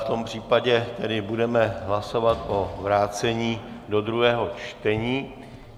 V tom případě tedy budeme hlasovat o vrácení do druhého čtení.